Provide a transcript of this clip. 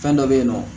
Fɛn dɔ be yen nɔ